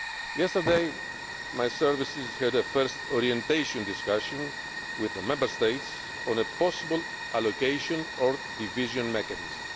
situation. Yesterday my services had a first orientation discussion with the Member States on a possible allocation or division